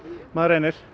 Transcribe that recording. maður reynir